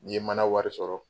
N ye mana wari sɔrɔ